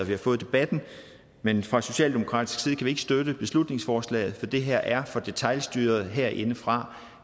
vi har fået debatten men fra socialdemokratisk side kan vi ikke støtte beslutningsforslaget for det her er for detailstyret herindefra